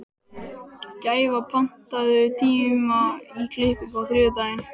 Gæfa, pantaðu tíma í klippingu á þriðjudaginn.